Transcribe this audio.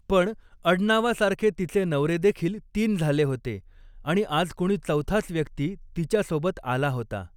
पण अडनावासारखे तिचे नवरे देखील तीन झाले होते आणि आज कुणी चौथाच व्यक्ती तिच्यासोबत आला होता.